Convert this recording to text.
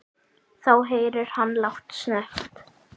Þá heyrir hann lágt snökt.